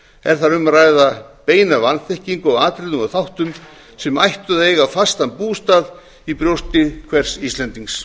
er þar um að ræða beina vanþekkingu á atriðum og þáttum sem ættu að eiga fastan bústað í brjósti hvers íslendings